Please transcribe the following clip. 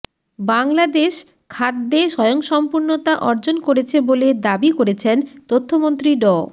বাংলাদেশ খাদ্যে স্বয়ংসম্পূর্ণতা অর্জন করেছে বলে দাবি করেছেন তথ্যমন্ত্রী ড